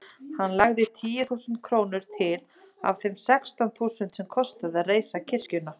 Hann lagði tíu þúsund krónur til af þeim sextán þúsundum sem kostaði að reisa kirkjuna.